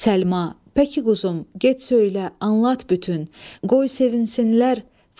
Pəki quzum, get söylə, anlat bütün, qoy sevinsinlər.